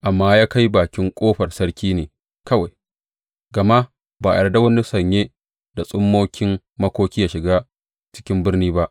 Amma ya kai bakin ƙofar sarki ne kawai, gama ba a yarda wani sanye da tsummokin makoki yă shiga cikin birni ba.